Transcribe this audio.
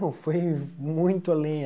Não, foi muito além.